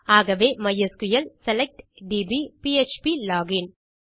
ஆகவே MySQL select DB PHP login